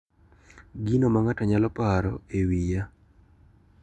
Gino ma ng`ato nyalo paro e wiya.